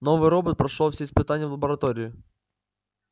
новый робот прошёл все испытания в лаборатории